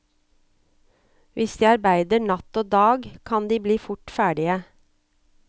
Hvis de arbeider natt og dag, kan de bli fort ferdige.